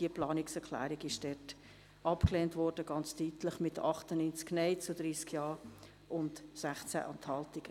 Diese wurde ganz deutlich abgelehnt, mit 98 Nein zu 30 Ja und 16 Enthaltungen.